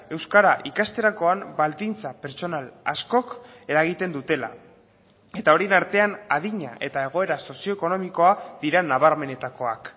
euskara ikasterakoan baldintza pertsonal askok eragiten dutela eta horien artean adina eta egoera sozio ekonomikoa dira nabarmenetakoak